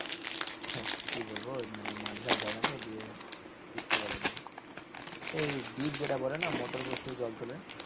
কি বলবো? মানে মাঠ ঘাট জায়গা তো দিয়ে বুঝতে পারা যায় না। সেই ডিপ যেটা বলে না motor বসিয়ে জল তোলে?